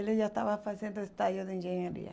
Ele já estava fazendo estágio de engenharia.